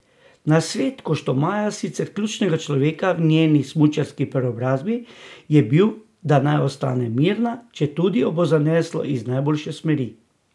Nasvet Koštomaja, sicer ključnega človeka v njeni smučarski preobrazbi, je bil, da naj ostane mirna, četudi jo bo zaneslo iz najboljše smeri.